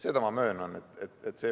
See võiks olla lubatud.